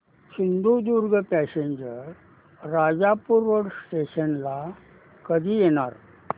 Sindhudurg passenger Rajapur road station ला कधी येणार